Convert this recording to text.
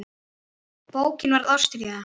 Bókin varð ástríða hans.